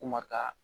Kuma ka